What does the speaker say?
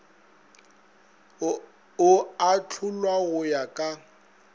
o ahlolwa go ya ka